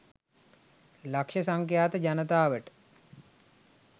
ලක්ෂ සංඛ්‍යාත ජනතාවට